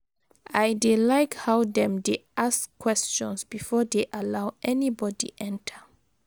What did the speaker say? I dey like how dem dey ask questions before dey allow anybody enter.